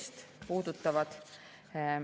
Ja teine puudutab …